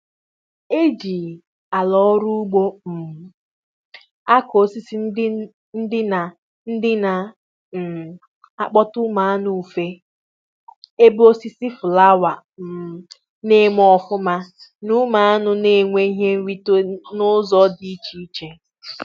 E jì àlà ọrụ ugbo um akụ osisi ndị na ndị na um akpota ụmụ anụ ufe ,ebe osisi fụlawa um na eme ọfụma na ụmụ aṅụ n'enwe ihe nrite n'ụzọ dị iche iche